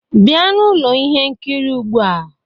Bịa n'ụlọ ihe nkiri ugbua!